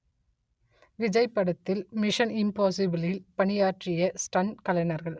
விஜய் படத்தில் மிஷன் இம்பாஸிபிளில் பணியாற்றிய ஸ்டண்ட் கலைஞர்கள்